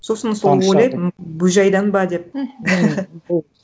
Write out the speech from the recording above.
сосын соны ойлайтынмын бөжайдан ба деп мхм